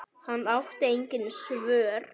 Hann átti engin svör.